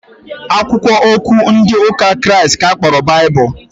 Akwụkwọ okwu Chukwu ndị ụka Kraịst ka a kpọrọ Baịbụl